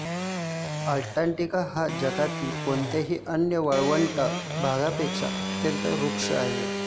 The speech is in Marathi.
अंटार्टिका हा जगातल्या कोणत्याही अन्य वाळवंटी भागापेक्षा अत्यंत रुक्ष आहे